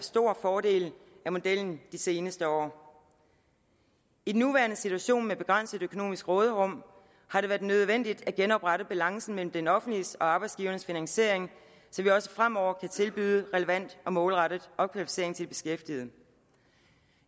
stor fordel af modellen de seneste år i den nuværende situation med et begrænset økonomisk råderum har det været nødvendigt at genoprette balancen mellem det offentliges og arbejdsgivernes finansiering så vi også fremover kan tilbydes relevant og målrettet opkvalificering til de beskæftigede